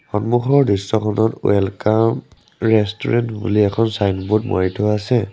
সন্মুখৰ দৃশ্যখনত welcome restaurant বুলি এখন ছাইনবোৰ্ড মাৰি থোৱা আছে।